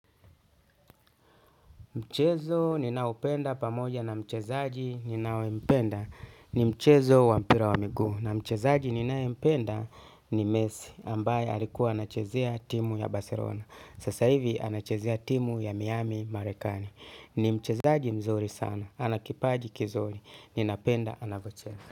Mchezo ni naoupenda pamoja na mchezaaji ni nayempenda ni mchezo wa mpira wa miguu na mchezaji ni nayempenda ni mesi ambaye alikuwa anachezea timu ya barselona. Sasa hivi ana chezea timu ya miami marekani. Ni mchezaji mzuri sana. Anakipaji kizuri. Ni napenda anavyocheza.